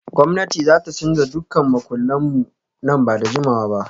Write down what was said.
Gwamnati za ta canza duk makullan mu nan ba da jimawa ba